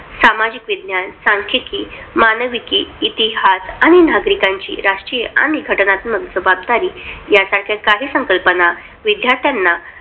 सामाजिक विज्ञान, सांख्यिकी, मानविकी, इतिहास आणि नागरिकांची राष्ट्रीय आणि घटनात्मक जबाबदारी यासारख्या काही संकल्पना विद्यार्थ्यांना